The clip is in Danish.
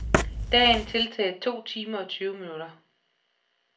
Dagen tiltaget to timer og tyve minutter.